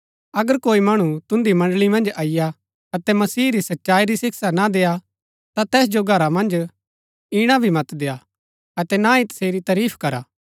अगर कोई मणु तुन्दी मण्ड़ळी मन्ज अईआ अतै मसीह री सच्चाई री शिक्षा ना देआ ता तैस जो घरा मन्ज ईणा भी मत देय्आ अतै ना ही तसेरी तरीफ करा